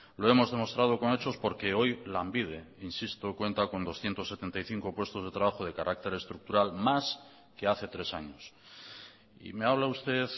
lo hemos demostrado con hechos porque hoy lanbide insisto cuenta con doscientos setenta y cinco puestos de trabajo de carácter estructural más que hace tres años y me habla usted